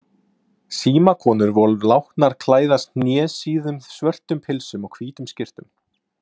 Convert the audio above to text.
Símakonur voru látnar klæðast hnésíðum svörtum pilsum og hvítum skyrtum.